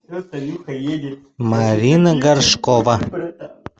марина горшкова